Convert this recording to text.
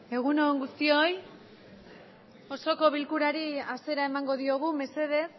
egunon guztioi osoko bilkurari hasiera emango diogu mesedez